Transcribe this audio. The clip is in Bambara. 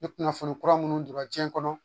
Ni kunnafoni kura minnu donra jiɲɛ kɔnɔ